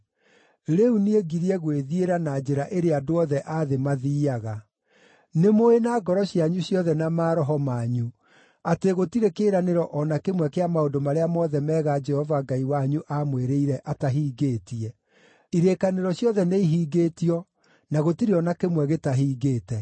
“Rĩu niĩ ngirie gwĩthiĩra na njĩra ĩrĩa andũ othe a thĩ mathiiaga. Nĩmũũĩ na ngoro cianyu ciothe, na maroho manyu atĩ gũtirĩ kĩĩranĩro o na kĩmwe kĩa maũndũ marĩa mothe mega Jehova Ngai wanyu aamwĩrĩire atahingĩtie. Irĩkanĩro ciothe nĩihingĩtio, na gũtirĩ o na kĩmwe gĩtahingĩte.